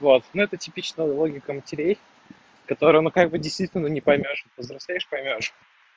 вот ну это типичная логика матерей которые мы как бы действительно не поймёшь повзрослеешь поймёшь